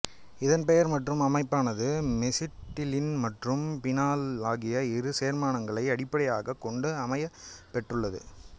இதன் பெயர் மற்றும் அமைப்பானது மெசிட்டிலீன் மற்றும் பீனால் ஆகிய இரு சேர்மங்களை அடிப்படையாகக் கொண்டு அமையப்பெற்றுள்ளது